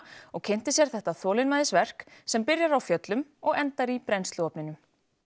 og kynnti sér þetta þolinmæðisverk sem byrjar á fjöllum og endar í brennsluofninum